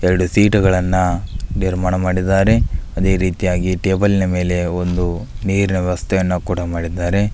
ಎರಡು ಸೀಟುಗಳನ್ನ ನಿರ್ಮಾಣ ಮಾಡಿದ್ದಾರೆ ಅದೆ ರೀತಿಯಾಗಿ ಟೇಬಲ್ನ ಮೇಲೆ ಒಂದು ನೀರಿನ ವ್ಯವಸ್ಥೆಯನ್ನ ಕೂಡ ಮಾಡಿದ್ದಾರೆ.